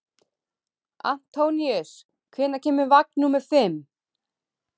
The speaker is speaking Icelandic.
Antóníus, hvenær kemur vagn númer fimm?